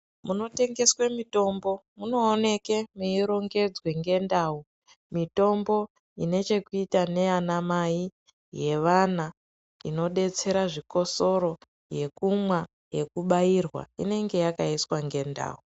Munotengeswe mitombo munooneke mweirongedzwe ngendau mitombo inechekuita nanamai ,yevana, inodetsera zvikosoro, yekubaya ,yekumwa inenge yakaiswa nendau.